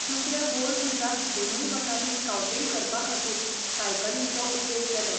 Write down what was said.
दुसऱ्या बोअर झुजांत दोनूय वटांनी स्काउटींग करपाखातीर सायकलींचो उपेग केलो.